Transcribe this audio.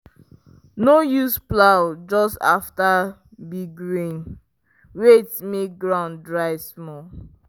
no use plow just after big rain wait make ground dry small.